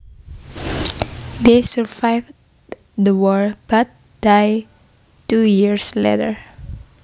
They survived the war but died two years later